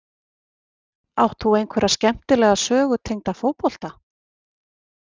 Átt þú einhverja skemmtilega sögu tengda fótbolta?